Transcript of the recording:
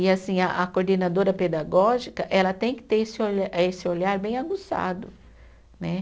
E assim, a a coordenadora pedagógica, ela tem que ter esse olhar, esse olhar bem aguçado, né?